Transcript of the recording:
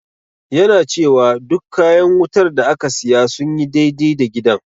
Yana cewa duk kayan wutar da aka siya sun yi dai-dai da gidan.